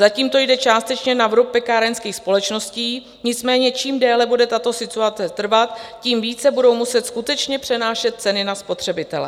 Zatím to jde částečně na vrub pekárenských společností, nicméně čím déle bude tato situace trvat, tím více budou muset skutečně přenášet ceny na spotřebitele.